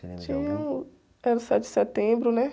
Tinha um... Era o sete de setembro, né?